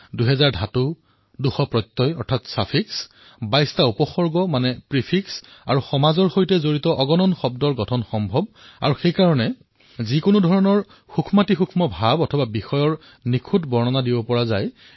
দুহেজাৰ ধাতু ২০০ প্ৰত্যয় অৰ্থাৎ ছাফিক্স ২২টা উপসৰ্গ অৰ্থাৎ প্ৰিফিক্স আৰু সমাজৰ অসংখ্য শব্দৰ ৰচনা সম্ভৱ আৰু সেইবাবে যিকোনো সুক্ষ্মাতিসুক্ষ্ম ভাৱ অথবা বিষয়ৰ উপযুক্তভাৱে বৰ্ণনা কৰিব পাৰি